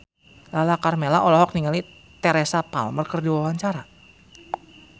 Lala Karmela olohok ningali Teresa Palmer keur diwawancara